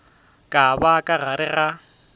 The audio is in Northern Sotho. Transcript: ka ba ka gare ga